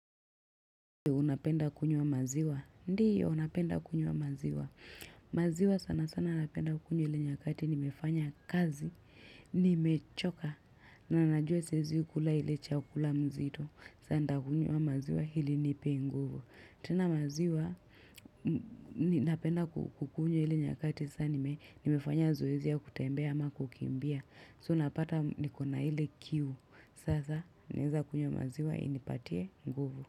Unapenda kunywa maziwa? Ndiyo napenda kunywa maziwa. Maziwa sana sana napenda kunywa ili nyakati nimefanya kazi, nimechoka, na najua siezi kula ile chakula mzito. Sasa ntakunywa maziwa ili inipe nguvu. Tena maziwa, ninapenda kukunywa ile nyakati sasa nimefanya zoezi ya kutembea ama kukimbia. So napata nikona ile kiu. Sasa naeza kunywa maziwa inipatie nguvu.